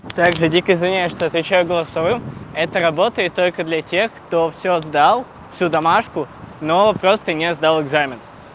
так же дико извиняюсь что отвечаю голосовым это работает только для тех кто всё сдал всю домашнюю но просто не сдал экзамен